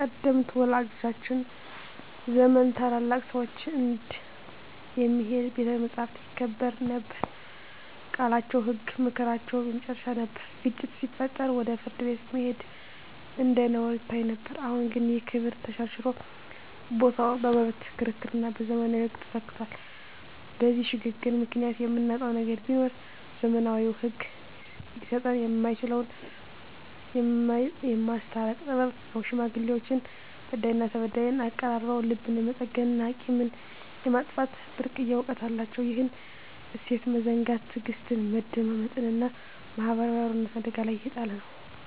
ቀደምት ወላጆቻችን ዘመን ታላላቅ ሰዎች እንደ "የሚሄድ ቤተ መጻሕፍት" ይከበሩ ነበር፤ ቃላቸው ህግ፣ ምክራቸው የመጨረሻ ነበር። ግጭት ሲፈጠር ወደ ፍርድ ቤት መሄድ እንደ ነውር ይታይ ነበር። አሁን ግን ይህ ክብር ተሸርሽሮ ቦታው በመብት ክርክርና በዘመናዊ ህግ ተተክቷል። በዚህ ሽግግር ምክንያት የምናጣው ነገር ቢኖር፣ ዘመናዊው ህግ ሊሰጠን የማይችለውን "የማስታረቅ ጥበብ" ነው። ሽማግሌዎች በዳይና ተበዳይን አቀራርበው ልብን የመጠገንና ቂምን የማጥፋት ብርቅዬ እውቀት አላቸው። ይህን እሴት መዘንጋት ትዕግስትን፣ መደማመጥንና ማህበራዊ አብሮነትን አደጋ ላይ እየጣለ ነው።